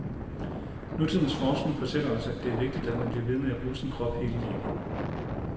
Nutidens forskning fortæller os, at det er vigtigt, at man bliver ved med at bruge sin krop hele livet.